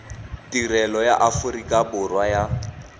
tirelo ya aforika borwa ya